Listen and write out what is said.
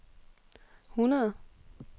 hundrede